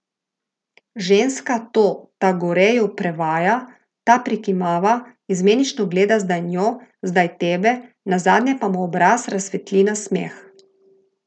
Ženska to Tagoreju prevaja, ta prikimava, izmenično gleda zdaj njo, zdaj tebe, nazadnje pa mu obraz razsvetli nasmeh.